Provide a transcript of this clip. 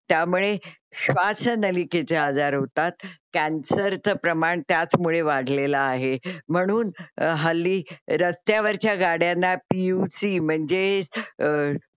त्यामुळे स्वश्नालीकेचे आजार होतात. कॅन्सरच प्रमाण त्याचमुळे वाढलेल आहे. म्हणून हल्ली रस्त्यावरच्या गाड्यांना पियूसी म्हणजे अ